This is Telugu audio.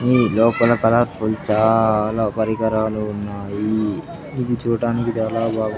ఈ లోపల కలరఫుల్స్ చాలా పరికరాలు ఉన్నాయి ఇది చూట్టానికి చాలా బాగు--